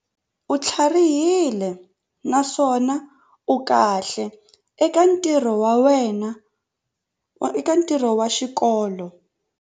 U tlharihile naswona u kahle eka ntirho wa xikolo.